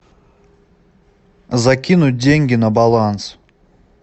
закинуть деньги на баланс